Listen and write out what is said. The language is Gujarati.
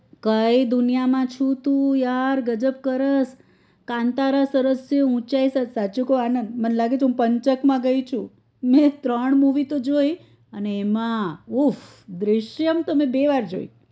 કઈ દુનિયા માં છુ તુ યાર ગજબ કરસ કન્તારા સરસ સે ઉંચાઈ સાચું કું આનંદ મન લાગે હું પંચક માં ગઈ શું મેં ત્રણ movie તો જોઈ એમાં ઉફ દૃશ્યમ તો મેં બે વાર જોઈ